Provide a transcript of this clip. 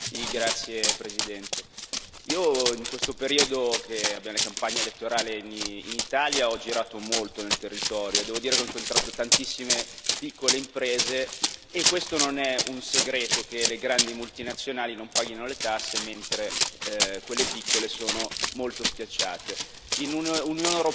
Signora Presidente, onorevoli colleghi, in questo periodo in cui abbiamo la campagna elettorale in Italia ho girato molto nel territorio e devo dire che ho incontrato tantissime piccole imprese. Non è un segreto che le grandi multinazionali non pagano le tasse, mentre quelle piccole sono molto schiacciate.